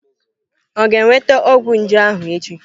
Ọ ga-enweta ọgwụ nje ahụ echi?